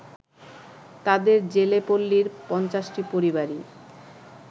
তাঁদের জেলেপল্লির ৫০টি পরিবারই